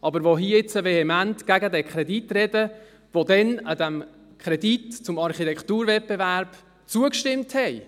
aber die hier jetzt vehement gegen diesen Kredit sprechen, die damals diesem Kredit zum Architekturwettbewerb zugestimmt haben.